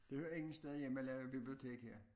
Det hører ingen steder hjemme at lave bibliotek her